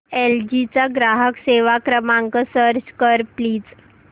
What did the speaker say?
L G चा ग्राहक सेवा क्रमांक सर्च कर प्लीज